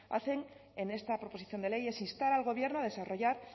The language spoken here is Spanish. hacen en esta proposición de ley es instar al gobierno a desarrollar